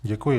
Děkuji.